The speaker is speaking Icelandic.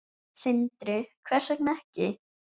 Sindri: Hvers vegna ekki?